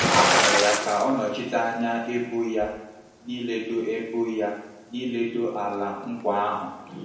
A họọrọ ya ka ọ nọchite anya ebo ya n’ịledo ebo ya n’ịledo Ala Nkwa ahụ.